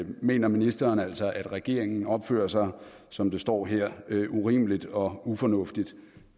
mener ministeren altså at regeringen opfører sig som der står her urimeligt og ufornuftigt